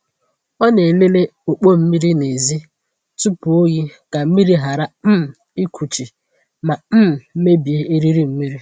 Ọ na-elele ọkpọ mmiri n’èzí tupu oyi ka mmiri ghara um ịkuchi ma um mebie eriri mmiri.